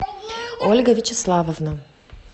ольга вячеславовна